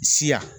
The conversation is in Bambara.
Siya